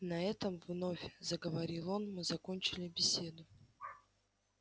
на этом вновь заговорил он мы закончили беседу